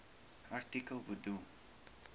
artikel bedoel